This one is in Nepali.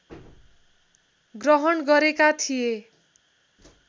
ग्रहण गरेका थिए